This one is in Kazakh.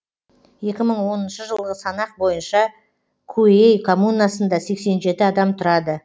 екі мың оныншы жылғы санақ бойынша куэй коммунасында сексен жеті адам тұрады